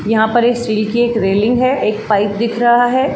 यहाँ पर एक स्टील की एक रेलिंग है। एक पाइप दिख रहा है।